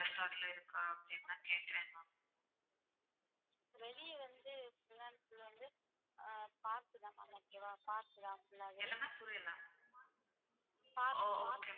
ஓ okay.